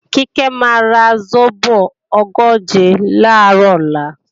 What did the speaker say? Kíkẹ́ máa ra sóbò ogóje làárọ̀ ọ̀la